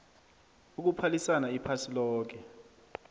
ukuphalisana iphasi loke